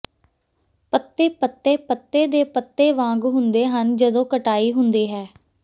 ਪੱਤੇ ਪੱਤੇ ਪੱਤੇ ਦੇ ਪੱਤੇ ਵਾਂਗ ਹੁੰਦੇ ਹਨ ਜਦੋਂ ਕਟਾਈ ਹੁੰਦੀ ਹੈ